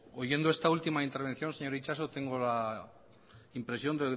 oyendo esta última intervención señor itxaso tengo la impresión